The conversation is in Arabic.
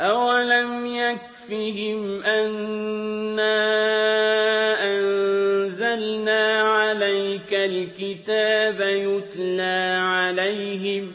أَوَلَمْ يَكْفِهِمْ أَنَّا أَنزَلْنَا عَلَيْكَ الْكِتَابَ يُتْلَىٰ عَلَيْهِمْ ۚ